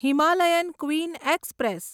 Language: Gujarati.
Himalayan Queen express